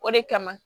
O de kama